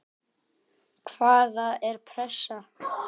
Hvaða er pressa?